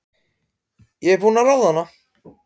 Ég er búin að ráða hana!